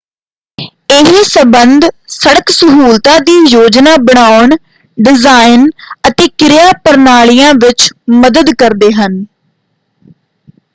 ਇਹ ਸੰਬੰਧ ਸੜਕ ਸਹੂਲਤਾਂ ਦੀ ਯੋਜਨਾ ਬਣਾਉਣ ਡਿਜ਼ਾਈਨ ਅਤੇ ਕਿਰਿਆ ਪ੍ਰਣਾਲੀਆਂ ਵਿੱਚ ਮਦਦ ਕਰਦੇ ਹਨ।